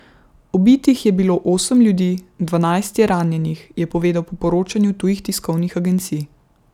Ubitih je bilo osem ljudi, dvanajst je ranjenih, je povedal po poročanju tujih tiskovnih agencij.